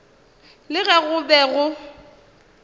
le ge go be go